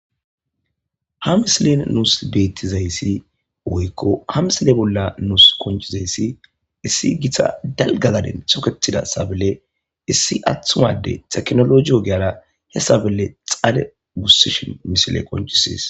Ha misilen nuus beetizayssi woykko ha misile bolla nus qonccizayssi issi gita dalgga gaden toketida sabley issi athu addey teknoloje ogiyara ha sable xade gusishin misiley qonccisees.